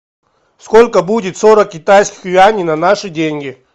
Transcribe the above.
сколько будет сорок китайских юаней на наши деньги